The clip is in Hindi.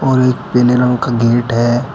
और एक पीले रंग का गेट है।